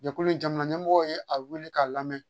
Jɛkulu in jamana ɲɛmɔgɔ ye a wele k'a lamɛn